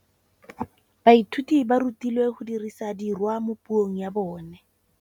Baithuti ba rutilwe go dirisa tirwa mo puong ya bone.